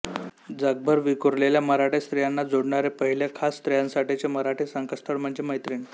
जगभर विखुरलेल्या मराठी स्त्रियांना जोडणारे पहिले खास स्त्रियांसाठीचे मराठी संकेतस्थळ म्हणजेच मैत्रीण